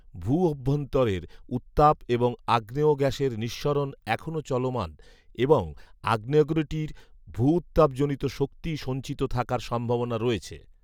ভূঅভ্যন্তরের উত্তাপ এবং আগ্নেয় গ্যাসের নিঃসরণ এখনও চলমান এবং আগ্নেয়গিরিটির ভূউত্তাপজনিত শক্তি সঞ্চিত থাকার সম্ভাবনা রয়েছে